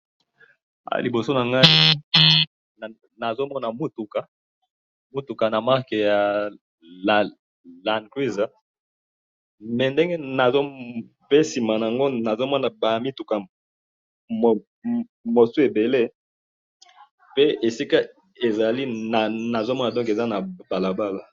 Na moni mutuka ya land cruiser na mituka mususu na sima nango na ba tukutuku na kati ya balabala.